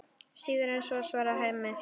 Síður en svo, svarar Hemmi.